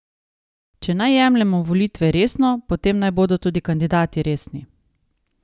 Če naj jemljemo volitve resno, potem naj bodo tudi kandidati resni.